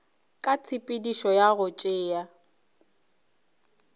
ka tshepedišo ya go tšea